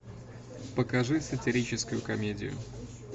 покажи сатирическую комедию